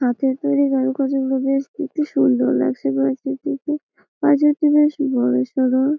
হাতে করে গাঁথার জন্য বেশ দেখতে সুন্দর লাগছে পাঁচিলটিকে পাঁচিলটি বেশ বড় সড়ো-ও--